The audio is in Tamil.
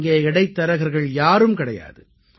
இங்கே இடைத்தரகர்கள் யாரும் கிடையாது